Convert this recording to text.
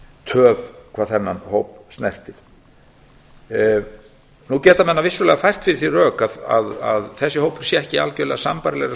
töf hvað þennan hóp snertir menn geta vissulega fært fyrir því rök að þessi hópur sé ekki algjörlega í